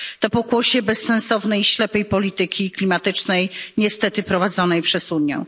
To pokłosie bezsensownej, ślepej polityki klimatycznej, niestety prowadzonej przez Unię.